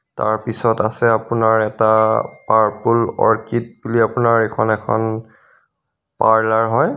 তাৰ পিছত আছে আপোনাৰ এটা পাৰপুল অৰ্কিড বুলি আপোনাৰ এইখন পৰলাৰ হয়.